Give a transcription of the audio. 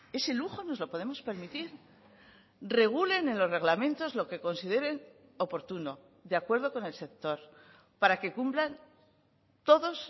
ese lujo nos lo podemos permitir regulen en los reglamentos lo que consideren oportuno de acuerdo con el sector para que cumplan todos